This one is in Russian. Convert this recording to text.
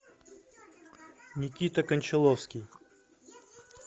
никита кончаловский